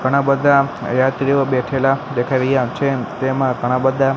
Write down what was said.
ઘણા બધા યાત્રીઓ બેઠેલા દેખાઈ રહ્યા છે તેમાં ઘણા બધા.